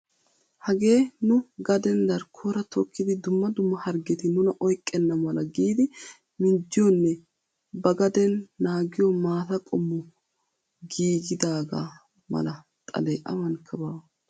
Hagee nu gaden darkkoora tokkidi dumma dumma hargeti nuna oyqqena mala giidi minjjiyoonne ba gaden naagiyoo maataaa qommo gigidaga mala xalee awankka baa.